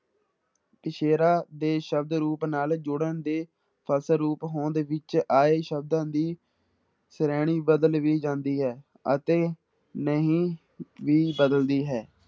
ਪਿੱਛੇਰਾ ਦੇ ਸ਼ਬਦ ਰੂਪ ਨਾਲ ਜੁੜਨ ਦੇ ਫਲਸਰੂਪ ਹੋਂਦ ਵਿੱਚ ਆਏ ਸ਼ਬਦਾਂ ਦੀ ਸ਼੍ਰੇਣੀ ਬਦਲ ਵੀ ਜਾਂਦੀ ਹੈ, ਅਤੇ ਨਹੀਂ ਵੀ ਬਦਲਦੀ ਹੈ।